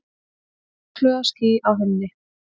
Óðfluga ský á himni.